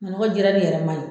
Manɔgɔ jirali yɛrɛ man ɲi.